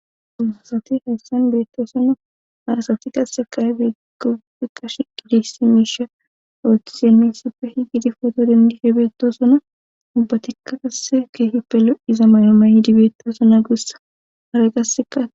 duma asati hayssan beetto sona harasati qasseqay begofiqash qidisi miisha ootisiemessipfe hi gidi foto dandihe beetto sona ubbatikka qasse keehi pelo iza maalamayi dibeettasona guussa hara qassekaa